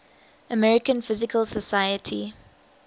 american physical society